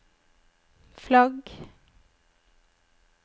flagg